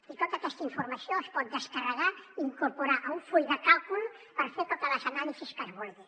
i tota aquesta informació es pot descarregar i incorporar a un full de càlcul per fer totes les anàlisis que es vulgui